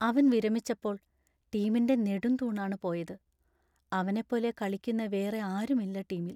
അവൻ വിരമിച്ചപ്പോൾ ടീമിൻ്റെ നെടുംതൂണാണ് പോയത്; അവനെ പോലെ കളിക്കുന്ന വേറെ ആരും ഇല്ല ടീമിൽ.